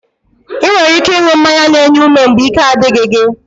Ị nwere ike ịṅụ mmanya n'enye ume mgbe ike a dịghị gị